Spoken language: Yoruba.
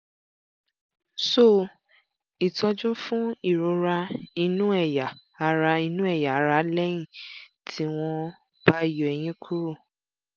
so itọju fún ìrora inú ẹ̀yà ara inú ẹ̀yà ara lẹ́yìn tí wọ́n bá yọ eyín kúrò